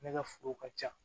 Ne ka foro ka ca